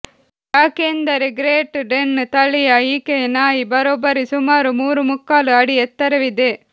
ಯಾಕೆಂದರೆ great Dane ತಳಿಯ ಈಕೆಯ ನಾಯಿ ಬರೋಬ್ಬರಿ ಸುಮಾರು ಮೂರು ಮುಕ್ಕಾಲು ಅಡಿ ಎತ್ತರವಿದೆ